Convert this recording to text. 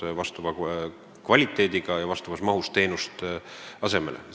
Riik peab saama vastava kvaliteediga ja vastavas mahus teenust asemele.